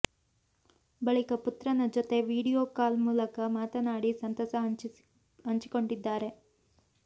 ಬಳಿಕ ಪುತ್ರನ ಜೊತೆ ವಿಡಿಯೋ ಕಾಲ್ ಮೂಲಕ ಮಾತನಾಡಿ ಸಂತಸ ಹಂಚಿಕೊಂಡಿದ್ದಾರೆ